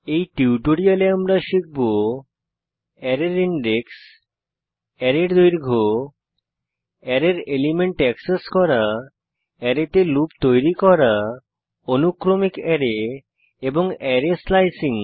এই টিউটোরিয়ালে আমরা শিখব অ্যারের ইনডেক্স অ্যারের দৈর্ঘ্য অ্যারের এলিমেন্ট এক্সেস করা অ্যারেতে লুপ তৈরী করা অনুক্রমিক অ্যারে এবং অ্যারের স্লায়সিং